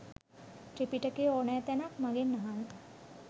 ත්‍රිපිටකයේ ඕනෑ තැනක් මගෙන් අහන්න